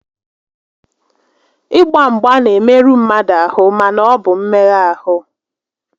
Ị gba mgba n'emerụ mmadụ ahụ mana ọ bụ mmegha ahụ